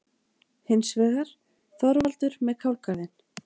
Hins vegar: Þorvaldur með kálgarðinn.